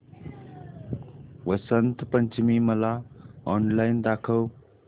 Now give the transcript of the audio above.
वसंत पंचमी मला ऑनलाइन दाखव